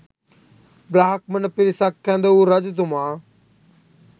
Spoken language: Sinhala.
බ්‍රාහ්මණ පිරිසක් කැඳ වූ රජතුමා